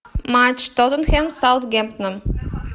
матч тоттенхэм саутгемптон